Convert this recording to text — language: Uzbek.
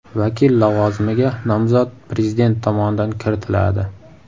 Vakil lavozimiga nomzod Prezident tomonidan kiritiladi.